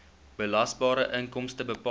belasbare inkomste bepaal